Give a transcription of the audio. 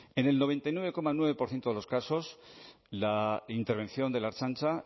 en el noventa y nueve coma nueve por ciento de los casos la intervención de la ertzaintza